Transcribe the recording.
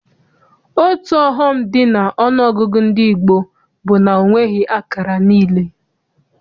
Otu ọghọm dị n'ọnụọgụgụ ndị gboo bụ na ọ nweghị akara niile.